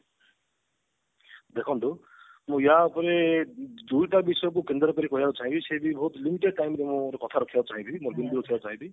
ଦେଖନ୍ତୁ ମୁଁ ଏହା ଉପରେ ଦୁଇଟା ଜିନିଷ କୁ କେନ୍ଦ୍ର କରି କହିବାକୁ ଚାହିଁବି ସେ ବି ବହୁତ limited time ରେ ମୋ କଥା ରଖିବାକୁ ଚାହିଁବି ଚାହିଁବି